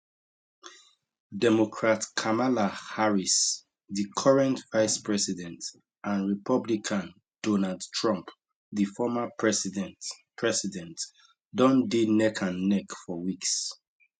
democrat kamala harris di current vicepresident and republican donald trump di former president president don dey neckandneck for weeks